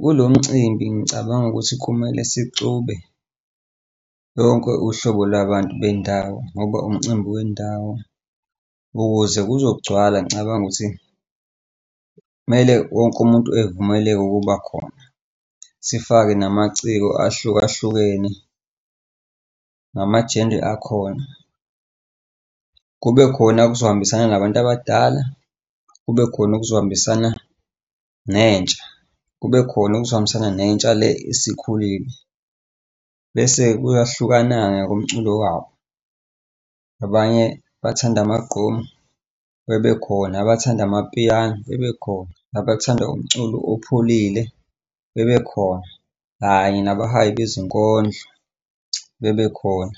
Kulo mcimbi ngicabanga ukuthi kumele sixube lonke uhlobo lwabantu bendawo ngoba umcimbi wendawo. Ukuze kuzogcwala ngicabanga ukuthi kumele wonke umuntu evumeleke ukuba khona. Sifake namaciko ahlukahlukene nama-gender akhona. Kube khona okuzohambisana nabantu abadala, kube khona okuzohambisana nentsha, kube khona okuzohambisana nentsha le esikhulile, bese kuyahlukana-ke ngokomculo wabo. Abanye abathanda amagqomu bebekhona, abathanda amapiano bebekhona, nabathanda umculo opholile bebekhona, kanye nabahayi bezinkondlo bebekhona